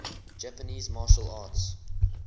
japanese martial arts